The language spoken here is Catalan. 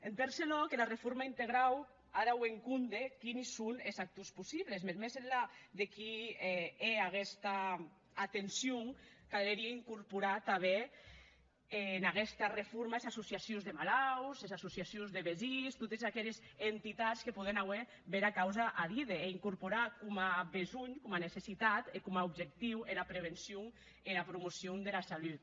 en tresau lòc era reforma integrau a d’auer en compde quines son es actors possibles mès enlà de qui hè aguesta atencion calerie incorporar tanben en aguesta reforma es associacions de malauts es associacions de vesins totes aqueres entitats que pòden auer bèra causa a díder e incorporar coma besonh coma necessitat e coma objectiu era prevencion e era promocion dera salut